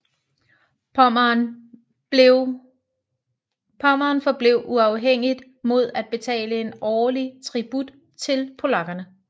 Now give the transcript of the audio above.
Pommern forblev uafhængigt mod at betale en årlig tribut til polakkerne